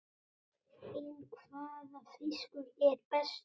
En hvaða fiskur er bestur?